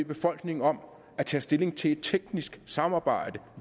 befolkningen om at tage stilling til et teknisk samarbejde